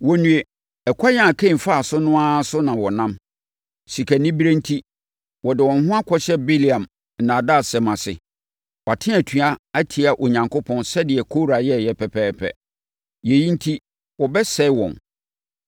Wɔnnue! Ɛkwan a Kain faa so no ara so na wɔnam. Sikanibereɛ enti, wɔde wɔn ho akɔhyɛ Bileam nnaadaasɛm ase. Wɔate atua atia Onyankopɔn sɛdeɛ Kora yɛeɛ pɛpɛɛpɛ. Yei enti wɔbɛsɛe wɔn.